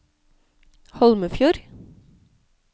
Holmefjord